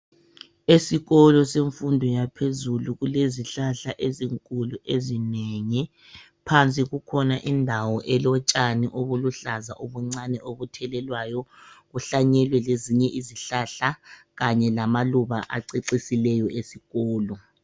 Esikolo semfundo yaphezulu kulezihlahla ezinkulu ezinengi, phansi kukhona indawo elotshani obuluhlaza obuncane obuthelelwayo. Kuhlanyelwe lezinye izihlahla kanye lamaluba acecisileyo esikolo.